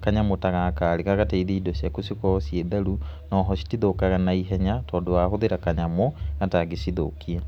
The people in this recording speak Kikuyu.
kanyamũ ta gaka rĩ, gagateithi indo ciaku cikorwo ciĩ theru, oho citithũkaga na ihenya, tondũ wahũthĩra kanyamũ gatangĩcithũkia.